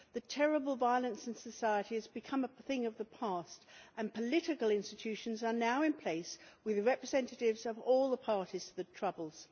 The terrible violence in society has become a thing of the past and political institutions are now in place with representatives of all the parties to the Troubles.